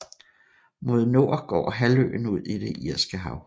Mod nord går halvøen ud i det irske hav